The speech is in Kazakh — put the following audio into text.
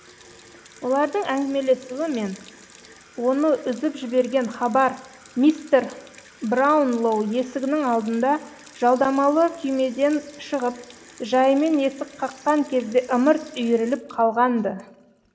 олардың әңгімелесуі мен оны үзіп жіберген хабар мистер браунлоу есігінің алдында жалдамалы күймеден шығып жайымен есік қаққан кезде ымырт үйіріліп қалған ды